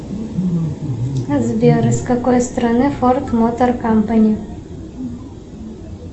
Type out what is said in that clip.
сбер из какой страны форд мотор кампани